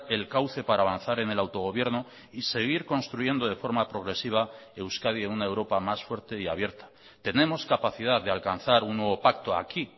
el cauce para avanzar en el autogobierno y seguir construyendo de forma progresiva euskadi en una europa más fuerte y abierta tenemos capacidad de alcanzar un nuevo pacto aquí